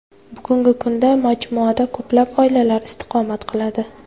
Bugungi kunda majmuada ko‘plab oilalar istiqomat qiladi.